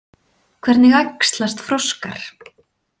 Hvernig æxlast froskar?